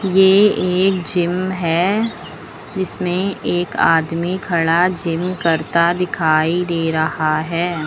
ये एक जिम है जिसमें एक आदमी खड़ा जिम करता दिखाई दे रहा है।